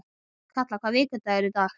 Kalla, hvaða vikudagur er í dag?